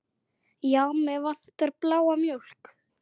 Já, mig vantar bláa mjólk.